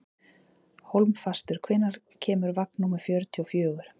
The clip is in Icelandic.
Hólmfastur, hvenær kemur vagn númer fjörutíu og fjögur?